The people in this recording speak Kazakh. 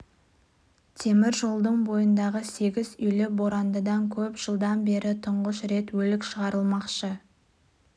темір жолдың бойындағы сегіз үйлі борандыда көп жылдан бері тұңғыш рет өлік шығарылмақшы